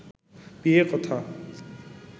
বিয়ে কথা